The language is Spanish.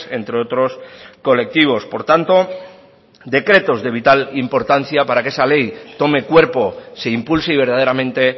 entre otros colectivos por tanto decretos de vital importancia para que esa ley tome cuerpo se impulse y verdaderamente